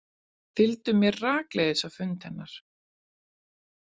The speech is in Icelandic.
Fylgdu mér rakleiðis á fund hennar.